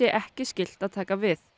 ekki skylt að taka við